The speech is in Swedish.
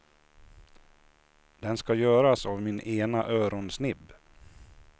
Den ska göras av min ena öronsnibb.